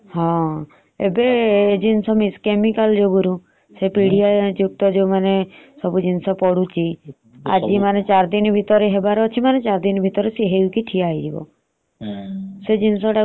ହଁ ଏବେ ଜିନିଷ ବେଶୀ chemical ଯୋଗୁରୁ । ସେ ପିଢିଆ ଯୁକ୍ତ ଯୋଉମାନେ ବଢୁଛି। ସେ ଚାରି ଦିନ ଭିତରେ ହବାର ଅଛି ମାନେ ଚାରି ଦିନ ଭିତରେ ସେ ହେଇକି ଠିଆ ହେଇଯିବ।